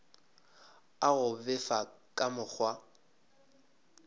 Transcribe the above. a go befa ka mokgwa